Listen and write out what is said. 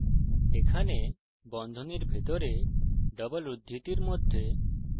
এখানে বন্ধনীর ভিতরে ডবল উদ্ধৃতির মধ্যে